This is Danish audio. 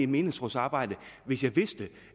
menighedsrådsarbejde hvis jeg vidste